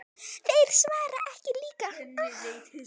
Þeir svara ekki líka.